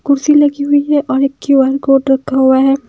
कुर्सी लगी हुई है और एक क्यू_आर कोड रखा हुआ है।